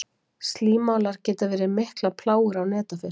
Slímálar geta verið miklar plágur á netafisk.